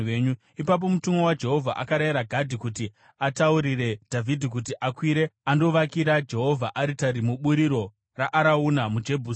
Ipapo mutumwa waJehovha akarayira Gadhi kuti ataurire Dhavhidhi kuti akwire andovakira Jehovha aritari muburiro raArauna muJebhusi.